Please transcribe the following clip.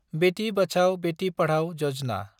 बेथि बाचाव, बेथि पाधाव यजना